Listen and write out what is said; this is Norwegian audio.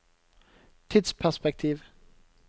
tidsperspektiv